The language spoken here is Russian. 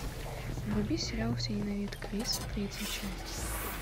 вруби сериал все ненавидят криса третья часть